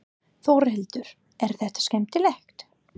Þórhildur: Er þetta skemmtilegt?